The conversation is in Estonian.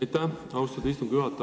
Aitäh, austatud istungi juhataja!